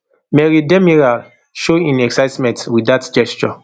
merih demiral show im excitement wit dat gesture